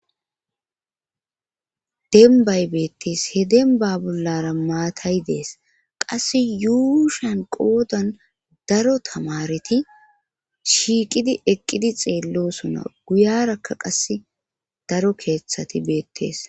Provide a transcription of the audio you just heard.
denbay beettees he denba bollara maatayi dees qasse yuushan qoodan daro tamareti shiiqidi eqqidi xeellosona guyarakka qasse daro keeththati beettees